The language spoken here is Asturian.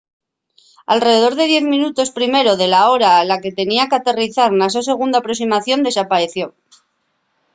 alredor de diez minutos primero de la hora a la que tenía qu’aterrizar na so segunda aproximación desapaeció